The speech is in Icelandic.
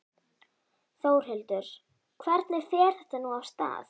Þórhildur, hvernig fer þetta nú af stað?